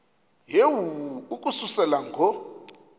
yehu ukususela ngo